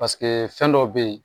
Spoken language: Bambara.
fɛn dɔ bɛ yen